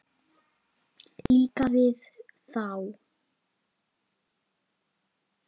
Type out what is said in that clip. Líka við þá.